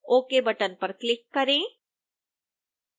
ok button पर click करें